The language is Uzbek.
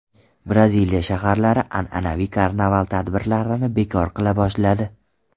Braziliya shaharlari an’anaviy karnaval tadbirlarini bekor qila boshladi.